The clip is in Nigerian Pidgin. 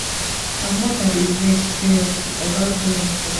her mother dey vex seriously oga bullum tok